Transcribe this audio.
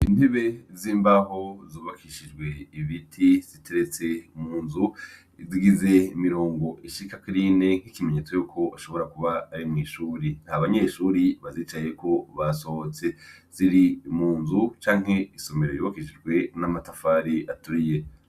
Intebe z'imbaho zubakishijwe ibiti ziteretse mu nzu. Zigize imirongo ishika kuri ine, ikimenyetso yuko hashobora kuba ari mw'ishuri. Ntabanyeshuri bazicayeko, basohotse. Ziri mu nzu canke isomero yubakishijwe n'amatafari aturiye.